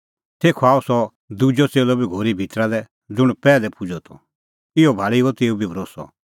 तेखअ आअ सह दुजअ च़ेल्लअ बी घोरी भितरा लै ज़ुंण पैहलै पुजअ त इहअ भाल़ी हुअ तेऊ बी भरोस्सअ